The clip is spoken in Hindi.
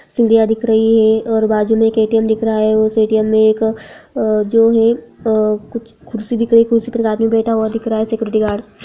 सीढिया दिख रही है और बाजु में एक ए.टी.एम. दिख रहा है उस ए.टी.एम. में एक अ जो है अ कुछ कुर्सी एक कुर्सी पे एक आदमी बैठा हुआ दिख रहा है सिक्योरिटी गार्ड --